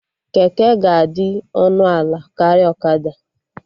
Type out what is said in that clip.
Keke ga-adị ọnụ ala karịa ọkada